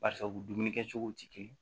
Barisabu dumuni kɛcogow tɛ kelen